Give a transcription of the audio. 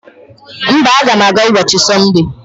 Mba, aga m aga n'ubochi Sonde.